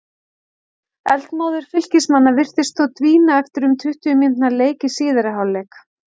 Eldmóður Fylkismanna virtist þó dvína eftir um tuttugu mínútna leik í síðari hálfleik.